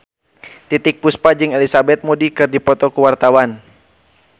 Titiek Puspa jeung Elizabeth Moody keur dipoto ku wartawan